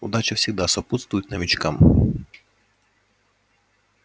удача всегда сопутствует новичкам